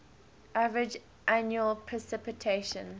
average annual precipitation